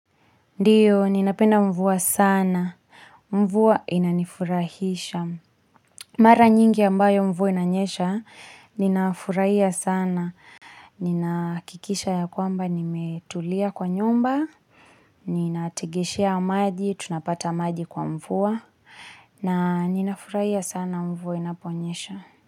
Ndio, ninapenda mvua sana. Mvua inanifurahisha. Mara nyingi ambayo mvua inanyesha, ninafurahia sana. Ninaakikisha ya kwamba nimetulia kwa nyumba. Ninategeshea maji, tunapata maji kwa mvua. Na ninafurahia sana mvua inaponyesha.